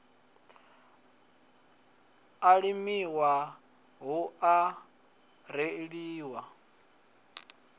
a limiwa hu a reḓiwa